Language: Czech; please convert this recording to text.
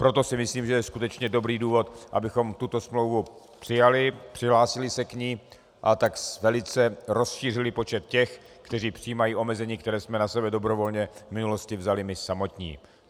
Proto si myslím, že je skutečně dobrý důvod, abychom tuto smlouvu přijali, přihlásili se k ní, a tak velice rozšířili počet těch, kteří přijímají omezení, které jsme na sebe dobrovolně v minulosti vzali my samotní.